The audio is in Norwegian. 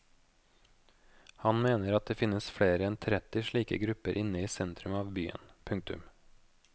Han mener det finnes flere enn tretti slike grupper inne i sentrum av byen. punktum